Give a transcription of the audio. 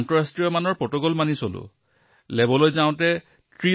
আমাৰ আইএলবিএছৰ পৰীক্ষাগাৰটো বিশ্ব স্বাস্থ্য সংস্থাৰ দ্বাৰা স্বীকৃত